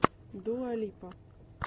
дуа липа